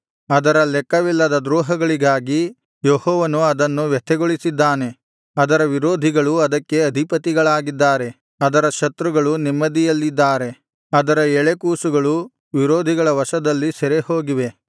ಅದರ ಲೆಕ್ಕವಿಲ್ಲದ ದ್ರೋಹಗಳಿಗಾಗಿ ಯೆಹೋವನು ಅದನ್ನು ವ್ಯಥೆಗೊಳಿಸಿದ್ದಾನೆ ಅದರ ವಿರೋಧಿಗಳು ಅದಕ್ಕೆ ಅಧಿಪತಿಗಳಾಗಿದ್ದಾರೆ ಅದರ ಶತ್ರುಗಳು ನೆಮ್ಮದಿಯಲ್ಲಿದ್ದಾರೆ ಅದರ ಎಳೆಕೂಸುಗಳು ವಿರೋಧಿಗಳ ವಶದಲ್ಲಿ ಸೆರೆಹೋಗಿವೆ